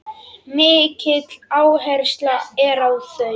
Mikil áhersla er á þau.